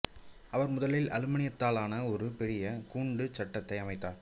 அவர் முதலில் அலுமினியத்தாலான ஒரு பெரிய கூண்டுச் சட்டத்தை அமைத்தார்